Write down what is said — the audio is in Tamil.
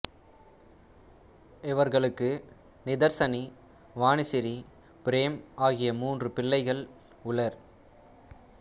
இவர்களுக்கு நிதர்சனி வாணிசிறி பிரேம் ஆகிய மூன்று பிள்ளைகள் உளர்